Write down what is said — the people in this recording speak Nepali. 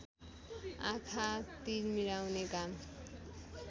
आँखा तिरमिराउने घाम